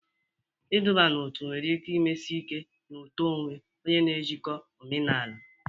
Iduba n'otu nwere ike mesie ike na uto onwe onye na njikọ omenala.